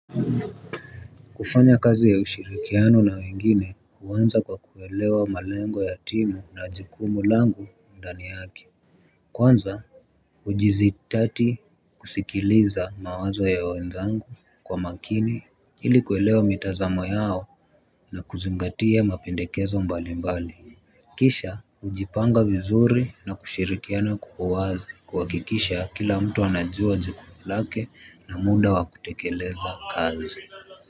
Kufanya kazi ya ushirikiano na wengine huanza kwa kuelewa malengo ya timu na jukumu langu ndani yake. Kwanza hujizitati kusikiliza mawazo ya wenzangu kwa makini ili kuelewa mitazamo yao na kuzingatia mapendekezo mbalimbali. Kisha hujipanga vizuri na kushirikiana kwa uwazi kuhakikisha kila mtu anajua jukumu lake na muda wa kutekeleza kazi.